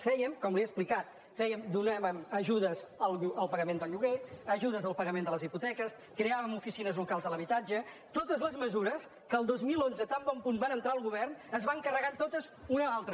fèiem com li he explicat donàvem ajudes al pagament del lloguer ajudes al pa·gament de les hipoteques creàvem oficines locals de l’habitatge totes les mesures que el dos mil onze tan bon punt van entrar al govern es van carregar totes d’una a l’altra